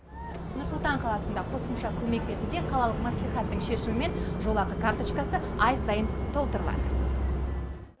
нұр сұлтан қаласында қосымша көмек ретінде қалалық мәслихаттың шешімімен жолақы карточкасы ай сайын толтырылады